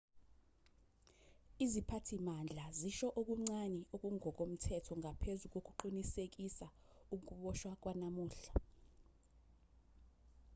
iziphathimandla zisho okuncane okungokomthetho ngaphezu kokuqinisekisa ukuboshwa kwanamuhla